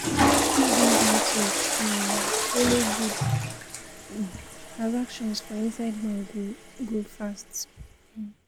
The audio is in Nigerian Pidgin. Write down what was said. if bank network um follow good, um transaction for inside bank go go faster um